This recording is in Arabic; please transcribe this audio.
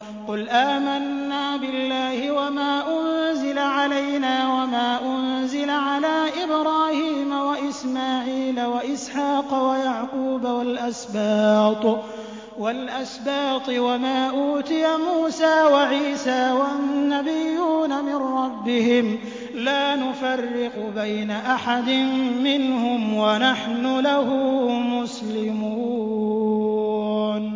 قُلْ آمَنَّا بِاللَّهِ وَمَا أُنزِلَ عَلَيْنَا وَمَا أُنزِلَ عَلَىٰ إِبْرَاهِيمَ وَإِسْمَاعِيلَ وَإِسْحَاقَ وَيَعْقُوبَ وَالْأَسْبَاطِ وَمَا أُوتِيَ مُوسَىٰ وَعِيسَىٰ وَالنَّبِيُّونَ مِن رَّبِّهِمْ لَا نُفَرِّقُ بَيْنَ أَحَدٍ مِّنْهُمْ وَنَحْنُ لَهُ مُسْلِمُونَ